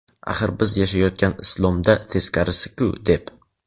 Axir, biz yashayotgan "islom"da teskarisiku, deb.